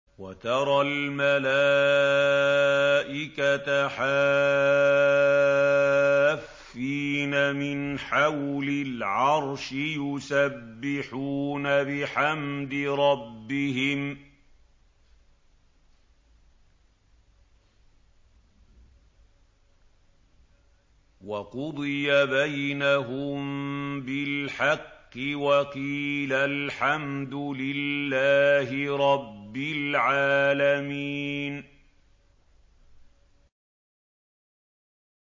وَتَرَى الْمَلَائِكَةَ حَافِّينَ مِنْ حَوْلِ الْعَرْشِ يُسَبِّحُونَ بِحَمْدِ رَبِّهِمْ ۖ وَقُضِيَ بَيْنَهُم بِالْحَقِّ وَقِيلَ الْحَمْدُ لِلَّهِ رَبِّ الْعَالَمِينَ